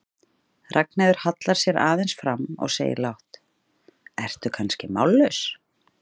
Ragnheiður hallar sér aðeins fram og segir lágt, ertu kannski mállaus?